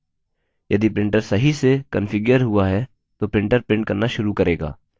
यदि printer सही से कन्फिग्यर हुआ है तो printer printer करना शुरू करेगा